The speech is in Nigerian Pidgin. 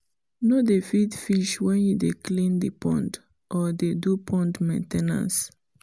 no dey feed fish when you dey clean the pond or dey do pond main ten ance